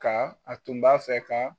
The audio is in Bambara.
Ka a tun b'a fɛ ka